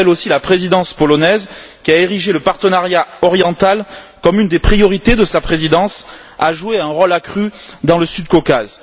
J'appelle aussi la présidence polonaise, qui a érigé le partenariat oriental en priorité de sa présidence, à jouer un rôle accru dans le Sud Caucase.